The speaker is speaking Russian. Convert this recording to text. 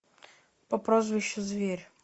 по прозвищу зверь